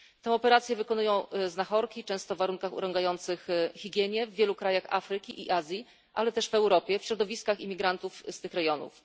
Tę operację wykonują znachorki, często w warunkach urągających higienie, w wielu krajach Afryki i Azji, ale też w Europie, w środowiskach imigrantów z tych rejonów.